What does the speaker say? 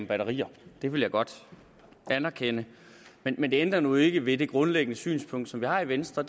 batterier det vil jeg godt anerkende men det ændrer nu ikke ved det grundlæggende synspunkt som vi har i venstre